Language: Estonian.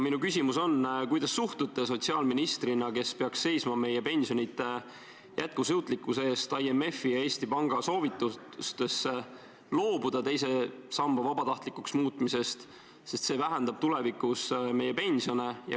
Minu küsimus on: kuidas te suhtute sotsiaalministrina, kes peaks seisma meie pensionite jätkusuutlikkuse eest, IMF-i ja Eesti Panga soovitustesse loobuda teise samba vabatahtlikuks muutmisest, sest see vähendab tulevikus meie pensione?